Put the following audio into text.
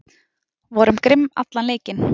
Vorum grimm allan leikinn